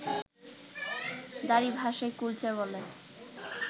দারী ভাষায় কুলচা বলে